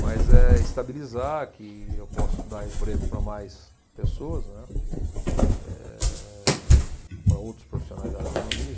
Mas é estabilizar, que eu possa dar emprego para mais pessoas, né, eh, para outros profissionais da área da agronomia.